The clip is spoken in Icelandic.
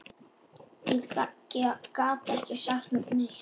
Ég gat ekki sagt neitt.